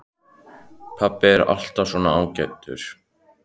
Pabbi er alltaf svo ágætur, hugsaði hann.